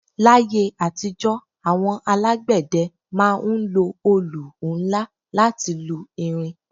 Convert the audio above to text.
L'ayé àtijọ́, àwọn alágbẹ̀dẹ ma ń lo olù nla láti lu irin